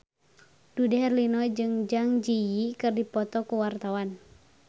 Dude Herlino jeung Zang Zi Yi keur dipoto ku wartawan